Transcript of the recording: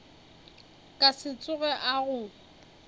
ka se tsoge a go